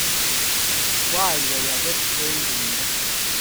kwaiywei apet eng' tuindo